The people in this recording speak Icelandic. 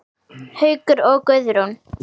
Haukur og Guðrún.